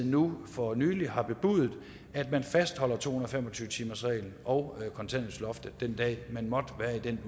nu for nylig har bebudet at man fastholder to hundrede og fem og tyve timersreglen og kontanthjælpsloftet den dag man måtte være i den